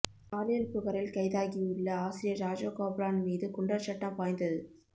பாலியல் புகாரில் கைதாகியுள்ள ஆசிரியர் ராஜகோபாலன் மீது குண்டர் சட்டம் பாய்ந்தது